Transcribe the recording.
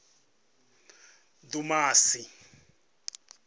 dumasi